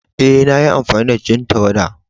Eh, na yi amfani da jan tawada.